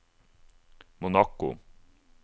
Monaco